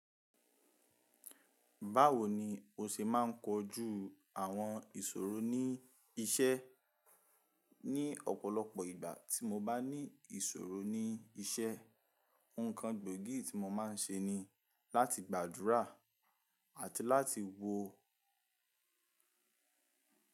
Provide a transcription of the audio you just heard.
Báwo ni o ṣe máa ń kojú àwọn ìṣòro ní iṣẹ́ ní ọ̀pọ̀lọpọ̀ ìgbà tí mo bá ní ìṣòro ní iṣẹ́, nǹkan gbóògì tí mo máa ń ṣe ni láti gbàdúrà àti láti wo.